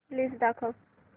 list दाखव